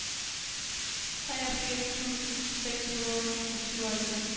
treogfirs tusind seks hundrede og syvoghalvfems